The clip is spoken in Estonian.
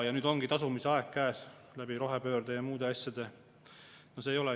Ja nüüd ongi tasumise aeg käes, rohepöörde ja muude asjade näol.